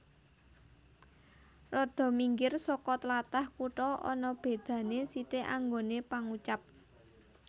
Rada minggir soko tlatah kutha ana beda ne sithik anggone pangucap